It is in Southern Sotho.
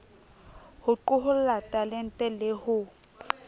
ho qoholla talente le ho